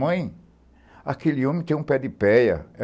Mãe, aquele homem tem um pé de péia.